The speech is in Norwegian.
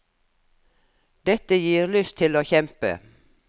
Dette gir lyst til å kjempe.